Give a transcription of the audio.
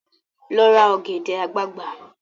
Lọ ra ọ̀gẹ̀dẹ̀ àgbagbà!